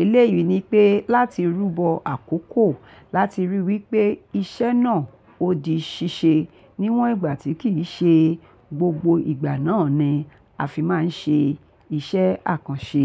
Eléyìí ni pé láti rúbọ àkókò láti ríi wípé iṣẹ́ náà ó di ṣíṣe níwọ̀n ìgbà tí kì í ṣe gbogbo ìgbà náà ni a fi máa ń ṣe iṣẹ́ àkànṣe.